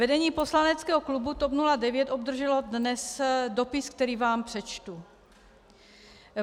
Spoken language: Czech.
Vedení poslaneckého klubu TOP 09 obdrželo dnes dopis, který vám přečtu: